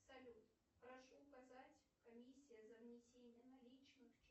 салют прошу указать комиссия за внесение наличных